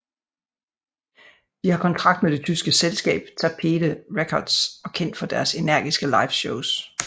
De har kontrakt med det tyske selskab Tapete Records og kendt for deres energiske live shows